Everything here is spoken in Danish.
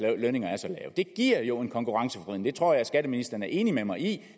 lønninger er så lave det giver jo en konkurrenceforvridning det tror jeg at skatteministeren er enig med mig i